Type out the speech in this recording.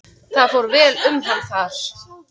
Það fór vel um hann þar.